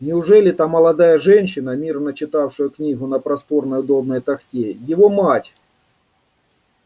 неужели та молодая женщина мирно читавшая книгу на просторной удобной тахте его мать